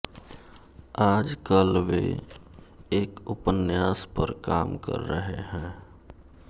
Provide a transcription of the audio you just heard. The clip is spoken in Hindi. आजकल वे एक उपन्यास पर काम कर रहे हैं